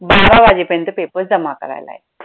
बारा वाजेपर्यंत paper जमा करायला आहे.